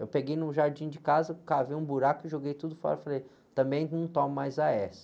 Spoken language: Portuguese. Eu peguei no jardim de casa, cavei um buraco e joguei tudo fora e falei, também não tomo mais á-ésse